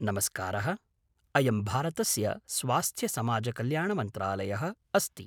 नमस्कारः! अयं भारतस्य स्वास्थ्यसमाजकल्याणमन्त्रालयः अस्ति।